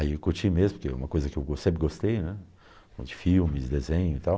Aí eu curti mesmo, porque é uma coisa que eu gos sempre gostei, né, de filmes, desenho e tal,